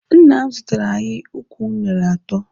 Nna m zụtara anyị ukwu unere atọ.